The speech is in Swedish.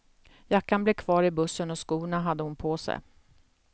Jackan blev kvar i bussen och skorna hade hon på sig.